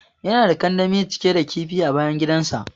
Yana da kandami cike da kifi a bayan gidan sa.